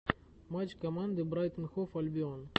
матч команды брайтон хов альбион